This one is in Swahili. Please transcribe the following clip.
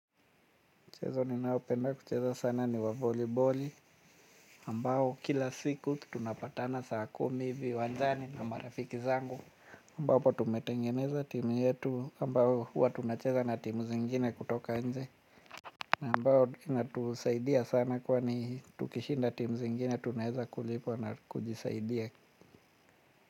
Mchezo ninayopenda kucheza sana ni wa voliboli. Mbao kila siku tunapatana saa kumi viwanjani na marafiki zangu ambapo tumetengeneza timu yetu ambao huwa tunacheza na timu zingine kutoka nje ambao inatusaidia sana kwani tukishinda timu zingine tunaweza kulipwa na kujisaidia.